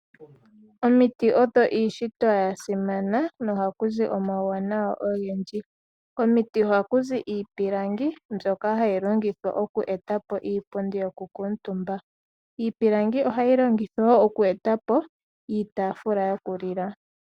Omuti odho iishitwa ya simana no haku zi iinima oyindji . Komiti ohaku zi iipilangi mbyoka hayi longithwa oku eta po iipundi yokukutumba. Iipilangi ohayi longithwa wo oku eta po iitaafula yokulila.